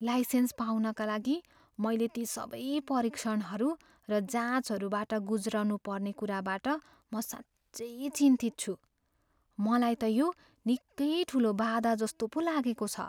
Licence पाउनका लागि मैले ती सबै परीक्षणहरू र जाँचहरूबाट गुज्रनुपर्ने कुराबाट म साँच्चै चिन्तित छु। मलाई त यो निकै ठुलो बाधाजस्तो पो लागेको छ।